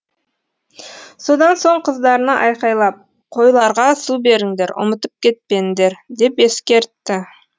содан соң қыздарына айқайлап қойларға су беріңдер ұмытып кетпендер деп ескертті